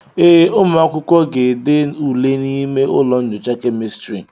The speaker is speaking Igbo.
ee, ụmụ akwụkwọ ga-ede ule n'ime ụlọ nyocha kemịstrị